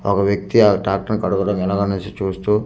ఒక వ్యక్తి ఆ ట్రాక్టర్ చూస్తూ--